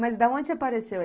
Mas de onde apareceu?